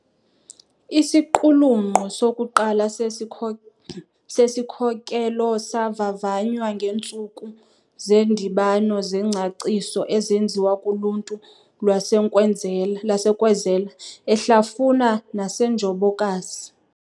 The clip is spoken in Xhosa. Isiqulunqo sokuqala sesikhokelo savavanywa ngeentsulku zeendibano zengcaciso ezenziwa kuluntu lwaseNkwezela, eHlafuna naseNjobokazi.